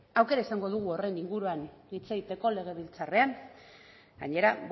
aukera izango dugu horren inguruan hitz egiteko legebiltzarrean gainera